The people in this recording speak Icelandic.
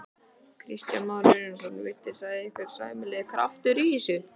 Kristján Már Unnarsson: Virtist ykkur vera sæmilegur kraftur í þessu?